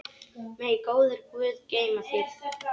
Megi góður Guð geyma þig.